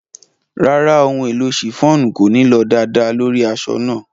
Ràrá, ohun-èlò ṣíffonù kòní lọ daadàà lórí aṣọ̀ náà.